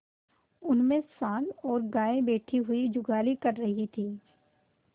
उनमें सॉँड़ और गायें बैठी हुई जुगाली कर रही थी